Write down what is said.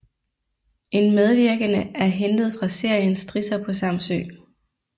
En medvirkende er hentet fra serien Strisser på Samsø